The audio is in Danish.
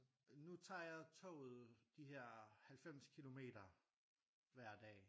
Nu tager jeg toget de her 90 kilometer hver dag